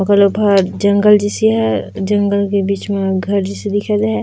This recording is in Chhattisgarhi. जंगल जैसी है जंगल के बिच में घर जैसी दिखत--